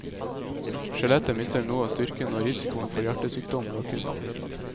Skjelettet mister noe av styrken, og risikoen for hjertesykdom øker.